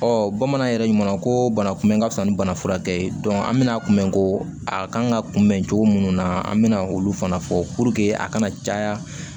bamanan yɛrɛ ɲuman na ko banakunbɛn ka wusa ni bana furakɛ ye an bɛna kunbɛn ko a kan ka kunbɛn cogo munnu na an bɛna olu fana fɔ a kana caya